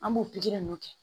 An b'o pikiri ninnu kɛ